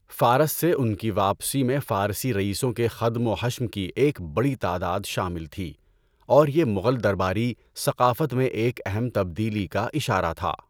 فارس سے ان کی واپسی میں فارسی رئیسوں کے خدم و حشم کی ایک بڑی تعداد شامل تھی اور یہ مغل درباری ثقافت میں ایک اہم تبدیلی کا اشارہ تھا۔